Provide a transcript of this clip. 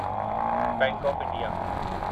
bank of India